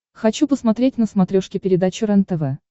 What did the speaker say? хочу посмотреть на смотрешке передачу рентв